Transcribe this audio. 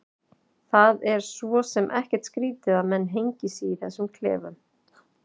Það er svo sem ekkert skrýtið að menn hengi sig í þessum klefum.